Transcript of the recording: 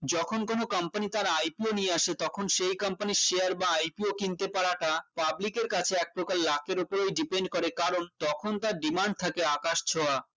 যখন কোন company তার ipo নিয়ে আসে তখন সেই company এর share বা IPO কিনতে পারাটা public এর কাছে এক প্রকার লাখের উপরেই depend করে কারণ তখন তার demand থাকে আকাশ ছোঁয়া